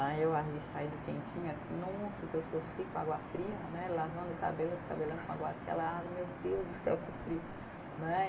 Aí eu ali saindo quentinha assim, nossa o que eu sofri com água fria né, lavando o cabelo, esse cabelão com água, aquela água, meu Deus do céu, que frio né